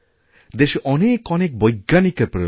দেশে অনেক অনেক বৈজ্ঞানিকের প্রয়োজন